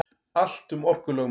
Allt um orkulögmálið.